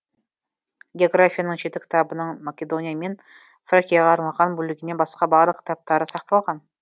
географияның жеті кітабының македония мен фракияға арналған бөлігінен басқа барлық кітаптары сақталған